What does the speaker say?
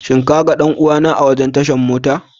Shin ka ga danuwa na a wurin tashan mota?